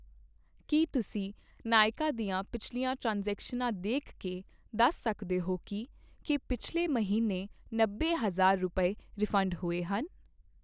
ਕੀ ਤੁਸੀਂਂ ਨਾਇਕਾ ਦੀਆਂ ਪਿਛਲੀਆਂ ਟ੍ਰਾਂਜ਼ੈਕਸ਼ਨਾਂ ਦੇਖ ਕੇ ਦੱਸ ਸਕਦੇ ਹੋ ਕੀ ਕੀ ਪਿਛਲੇ ਮਹੀਨੇ ਨੱਬੇ ਹਜ਼ਾਰ ਰੁਪਏ, ਰਿਫੰਡ ਹੋਏ ਹਨ?